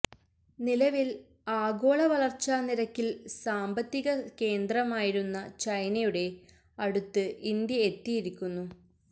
നിലവില് ആഗോള വളര്ച്ചാനിരക്കില് സാമ്പത്തിക കേന്ദ്രമായിരുന്ന ചൈനയുടെ അടുത്ത് ഇന്ത്യ എത്തിയിരിക്കുന്നു